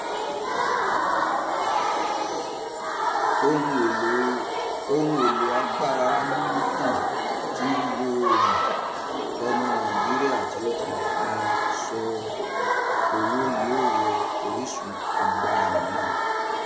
Ohun èlò agbára amúnátàn tí ń lo oòrùn: Ọmọ Nàìjíríà tí ó fi ṣọ owó yóò wọ orísun agbára mìíràn.